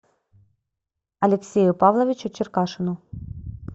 алексею павловичу черкашину